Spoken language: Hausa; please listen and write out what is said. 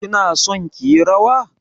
Kina son ki yi rawa?